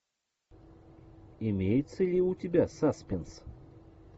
имеется ли у тебя саспенс